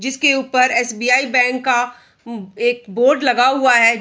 जिसके ऊपर SBI. Bank का उम् एक बोर्ड लगा हुआ है।